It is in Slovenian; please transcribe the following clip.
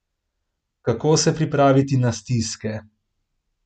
Kako se pripraviti na stiske?